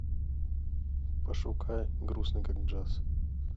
пошукай грустный как джаз